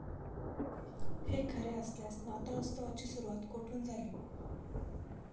हे खरे असल्यास, नाताळोत्सवाची सुरुवात कोठून झाली?